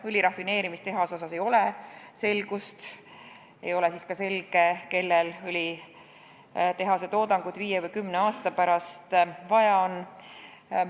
Õli rafineerimise tehase osas ei ole selgust ja ei ole selge ka see, kellel õlitehase toodangut viie või kümne aasta pärast vaja on.